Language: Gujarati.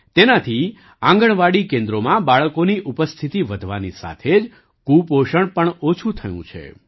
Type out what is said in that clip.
તેનાથી આંગણવાડી કેન્દ્રોમાં બાળકોની ઉપસ્થિતિ વધવાની સાથે જ કુપોષણ પણ ઓછું થયું છે